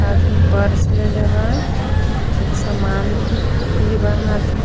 हाथ में पर्स लेले बा कुल समान भी बा हाथ में.